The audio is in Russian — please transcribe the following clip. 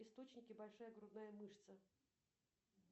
источники большая грудная мышца